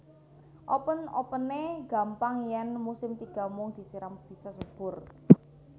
Open openene gampang yen musim tiga mung disiram bisa subur